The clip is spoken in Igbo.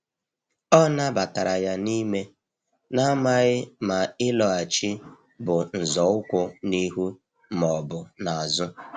O nabatara ya n’ime, na-amaghị ma ịlọghachi bụ nzọụkwụ n’ihu ma ọ bụ n’azụ.